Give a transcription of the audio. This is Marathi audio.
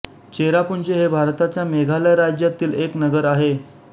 चेरापुंजी हे भारताच्या मेघालय राज्यामधील एक नगर आहे